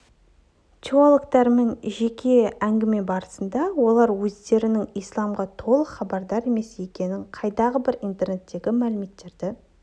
теологтармен жеке әңгіме барысында олар өздерінің исламнан толық хабардар емес екенін қайдағы бір интернеттегі мәліметтерді